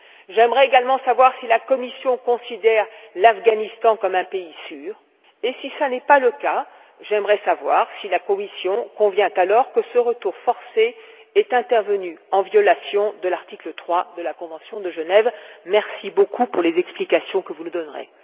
J'aimerais également savoir si la Commission considère l'Afghanistan comme un pays sûr, et si ce n'est pas le cas, j'aimerais savoir si la Commission convient alors que ce retour forcé est intervenu en violation de l'article 3 de la convention de Genève. Merci beaucoup pour les explications que vous nous donnerez.